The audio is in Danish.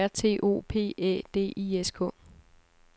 O R T O P Æ D I S K